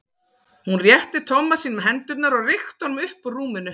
Hún rétti Tomma sínum hendurnar og rykkti honum upp úr rúminu.